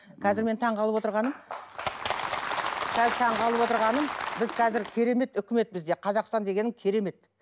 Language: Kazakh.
қазір мен таңғалып отырғаным қазір таңғалып отырғаным біз қазір керемет үкімет бізде қазақстан дегенің керемет